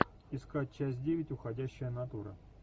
искать часть девять уходящая натура